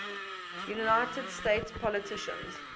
united states politicians